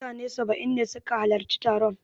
Mutane saba'in ne su ka halarci taron